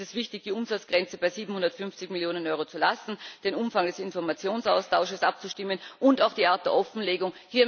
Deshalb ist es wichtig, die Umsatzgrenze bei 750 Millionen Euro zu lassen, den Umfang des Informationsaustausches abzustimmen und auch die Art der Offenlegung.